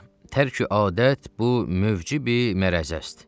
Tərki adət bu mövci mərzəzdir.